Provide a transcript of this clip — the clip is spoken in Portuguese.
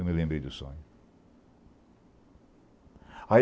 Eu me lembrei do sonho. Aí